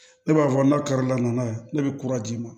Ne b'a fɔ n'a karili la n'a ye ne bɛ kura d'i ma